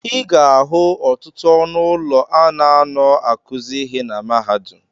Ị ga-ahụ ọtụtụ ọnụ ụlọ a na-anọ akụzị ịhe na mahadum.